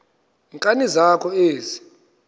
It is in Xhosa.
nkani zakho ezi